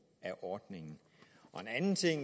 af ordningen og en anden ting